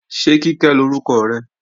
Ṣé Kíkẹ́ lórúkọ rẹ?